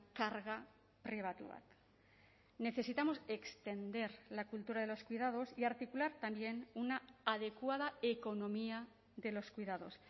karga pribatu bat necesitamos extender la cultura de los cuidados y articular también una adecuada economía de los cuidados